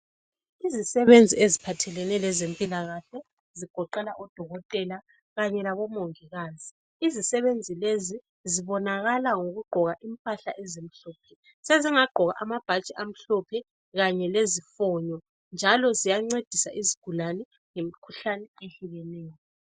Izisebenzi eziphathelene lezempila kahle zigoqela odokotela kanye labomongikazi izisebenzi lezi zibonakala ngokugqoka impahla ezimhlophe sezingagqoka amabhatshi amhlophe kanye lezifonyo njalo ziyancedisa izigulane ngemkhuhlane ehlukeneyo.